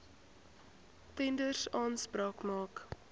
tenders aanspraak maak